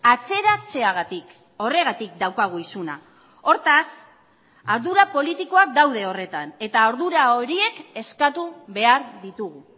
atzeratzeagatik horregatik daukagu isuna hortaz ardura politikoak daude horretan eta ardura horiek eskatu behar ditugu